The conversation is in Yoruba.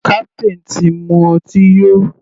Captain ti mu ọtí yó.